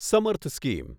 સમર્થ સ્કીમ